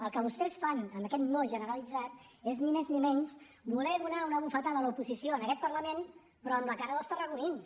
el que vostès fan amb aquest no generalitzat és ni més ni menys voler donar una bufetada a l’oposició en aquest parlament però amb la cara dels tarragonins